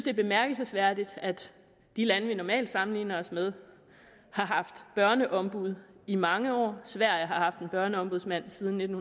er bemærkelsesværdigt at de lande vi normalt sammenligner os med har haft børneombud i mange år sverige har haft en børneombudsmand siden nitten